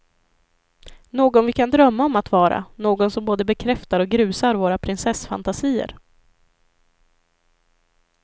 Någon vi kan drömma om att vara, någon som både bekräftar och grusar våra prinsessfantasier.